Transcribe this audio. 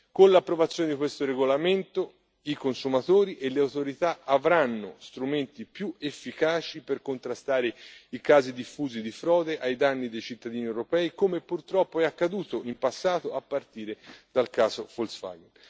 Con l'approvazione di questo regolamento i consumatori e le autorità avranno strumenti più efficaci per contrastare i casi diffusi di frode ai danni dei cittadini europei, come purtroppo è accaduto in passato, a partire dal caso Volkswagen.